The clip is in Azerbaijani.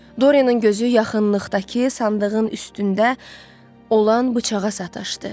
Doryanın gözü yaxınlıqdakı sandığın üstündə olan bıçağa sataşdı.